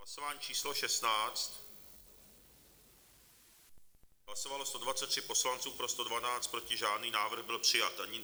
Hlasování číslo 16, hlasovalo 123 poslanců, pro 112, proti žádný, návrh byl přijat.